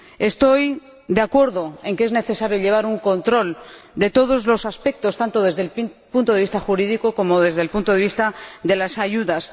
Estoy de acuerdo en que es necesario llevar un control de todos los aspectos, tanto desde el punto de vista jurídico como desde el punto de vista de las ayudas.